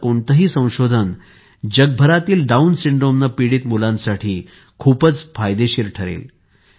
असे कोणतेही संशोधन जगभरातील डाऊन सिंड्रोमने पीडित मुलांसाठी खूपच फायदेशीर ठरेल